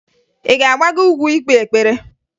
Ị ga-agbago ugwu ikpe ekpere?